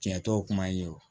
Tiɲɛtɔ kuma ye o